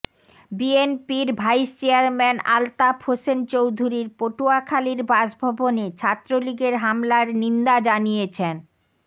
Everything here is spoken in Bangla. বিএনপির ভাইস চেয়ারম্যান আলতাফ হোসেন চৌধুরীর পটুয়াখালীর বাসভবনে ছাত্রলীগের হামলার নিন্দা জানিয়েছেন